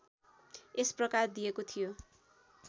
यस प्रकार दिएको थियो